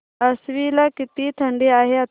आश्वी ला किती थंडी आहे आता